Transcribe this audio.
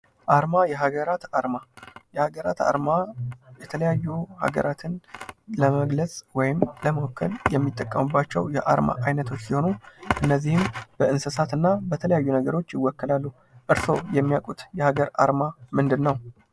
አርማ የሀገራት አርማ የሀገራት አርማ የተለያዩ ሀገራትን ለመግለፅ ወይም ለመወከል የሚጠቀሙባቸው የአርማ አይነቶች ሲሆኑ እነዚህም በእንሰሳትና በተለያዩ ነገሮች ይወከላሉ። እርስዎ የሚያውቁት የሀገር አርማ ምንድነው?